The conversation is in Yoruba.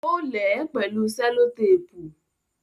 Ó lè ẹ́ pẹ̀lú selotéépù